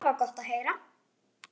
Það var gott að heyra.